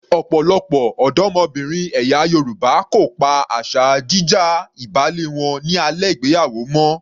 Ọ̀pọ̀lọpọ̀ ọ̀dọ́mọbìnrin ẹ̀yà Yorùbá kò pa asa jí já ìbálé wọn ní alẹ́ ìgbéyàwó mọ́.